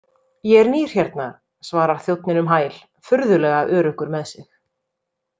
Ég er nýr hérna, svarar þjónninn um hæl, furðulega öruggur með sig.